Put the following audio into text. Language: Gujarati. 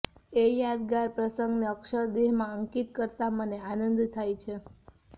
એ યાદગાર પ્રસંગને અક્ષરદેહમાં અંકિત કરતાં મને આનંદ થાય છે